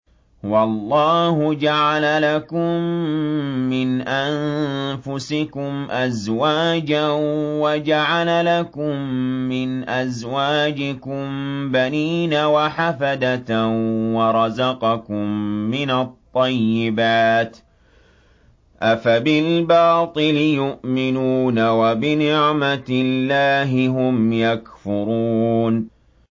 وَاللَّهُ جَعَلَ لَكُم مِّنْ أَنفُسِكُمْ أَزْوَاجًا وَجَعَلَ لَكُم مِّنْ أَزْوَاجِكُم بَنِينَ وَحَفَدَةً وَرَزَقَكُم مِّنَ الطَّيِّبَاتِ ۚ أَفَبِالْبَاطِلِ يُؤْمِنُونَ وَبِنِعْمَتِ اللَّهِ هُمْ يَكْفُرُونَ